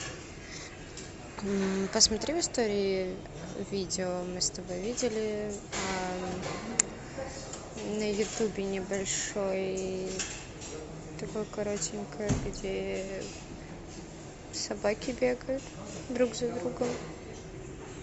посмотри в истории видео мы с тобой видели на ютубе небольшой такое коротенькое где собаки бегают друг за другом